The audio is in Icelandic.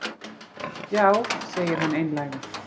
Já, segir hann einlægur.